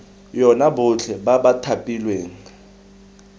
yona botlhe ba ba thapilweng